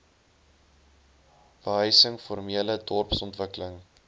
behuising formele dorpsontwikkeling